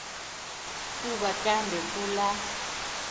kuba kambe kula